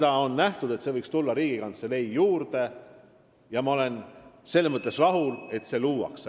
On ette nähtud, et see võiks tulla Riigikantselei juurde, ja ma olen rahul, et see luuakse.